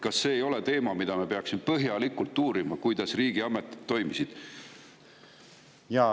Kas see ei ole teema, mida me peaksime põhjalikult uurima, et kuidas riigiametid toimisid?